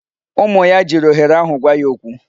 Ụmụ ya jiri ohere ahụ gwa ya okwu.